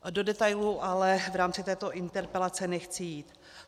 Do detailů ale v rámci této interpelace nechci jít.